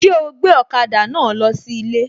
Ṣé ó gbé ọ̀kada náà lọ sí ilé?